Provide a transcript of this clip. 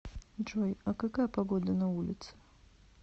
джой а какая погода на улице